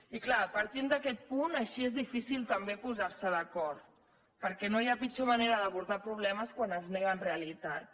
i clar partint d’aquest punt així és difícil també posar se d’acord perquè no hi ha pitjor manera d’abordar problemes que quan es neguen realitats